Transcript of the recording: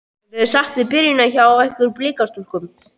Ertu sátt við byrjunina hjá ykkur Blikastúlkum?